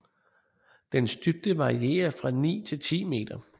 Dens dybde varierer fra ni til ti meter